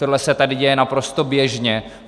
Tohle se tady děje naprosto běžně.